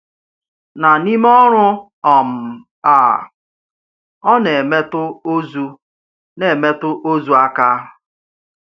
Na n’í mè̩ ọ̀rụ̀ um à, ọ̀ na-èmètụ̀ òzù na-èmètụ̀ òzù áká.